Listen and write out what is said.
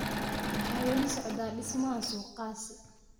Waxaa wali socda dhismaha suuqaasi.